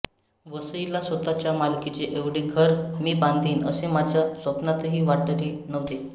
वसईला स्वतःच्या मालकीचे एवढे घर मी बांधीन असे माझ्या स्वप्नातही वाटले नव्हते